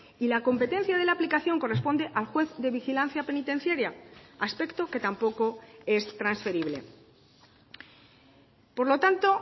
y la competencia de la aplicación corresponde al juez de vigilancia penitenciaria aspecto que tampoco es transferible por lo tanto